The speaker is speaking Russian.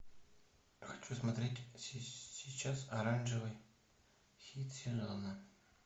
хочу смотреть сейчас оранжевый хит сезона